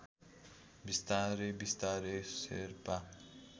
बिस्तारै बिस्तारै शेर्पा